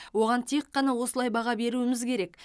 оған тек қана осылай баға беруіміз керек